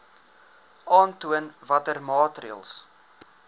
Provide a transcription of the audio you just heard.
aantoon watter maatreëls